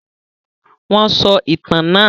Wọn sọ ìtàn náà?